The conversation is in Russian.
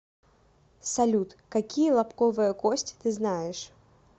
салют какие лобковая кость ты знаешь